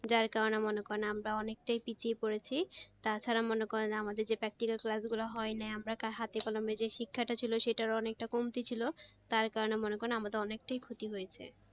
যার কারনে মনে করেন আমরা অনেকটাই পিছিয়ে পড়েছি তাছাড়া মনে করেন আমাদের যে practical class গুলো হয় নাই আমরা হাতে কলমে যে শিক্ষাটা ছিলো সেটারও অনেকটা কমতি ছিল তার কারনে মনে করেন আমাদের অনেকটাই ক্ষতি হয়েছে।